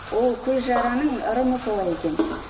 ол көзжараның ырымы солай екен